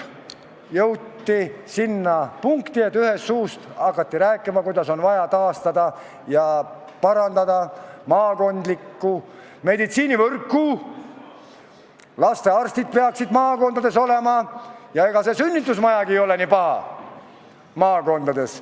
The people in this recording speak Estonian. Jõuti sinna punkti, et nagu ühest suust hakati rääkima, kuidas on vaja taastada ja parandada maakondlikku meditsiinivõrku, lastearstid peaksid maakondades olema ja ega see sünnitusmajagi maakonnas nii paha ei oleks.